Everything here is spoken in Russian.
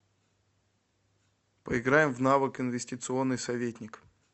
поиграем в навык инвестиционный советник